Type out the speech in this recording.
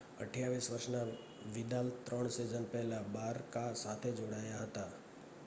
28 વર્ષના વિદાલ ત્રણ સિઝન પહેલા બારકા સાથે જોડાયા હતા